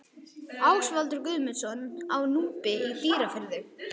Ásvaldur Guðmundsson á Núpi í Dýrafirði